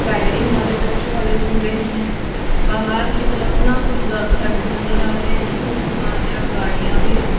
Sliding वाले बच्चो वाले झूले हैं बाहर की तरफ ना कुछ ग घर नजर आ रहे हैं कुछ दुकान है और गाड़ियां भी हैं।